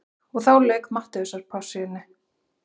Og þá lauk Mattheusarpassíunni.